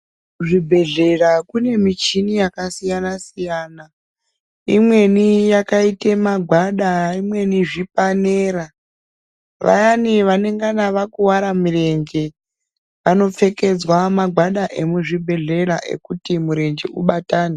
Kuzvibhedhlera kune michini yakasiyana-siyana. Imweni yakaite magwada, imweni zvipanera. Vayani vanengana vakuvara mirenje, vanopfekedzwa magwada emuzvibhedhlera ekuti murenje ubatane.